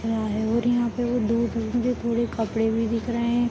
पुरे कपड़े भी दिख रहे है।